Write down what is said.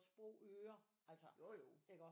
Sprogøre altså iggå